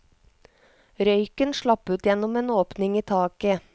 Røyken slapp ut gjennom en åpning i taket.